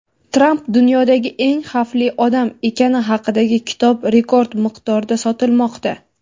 Tramp "dunyodagi eng xavfli odam" ekani haqidagi kitob rekord miqdorda sotilmoqda.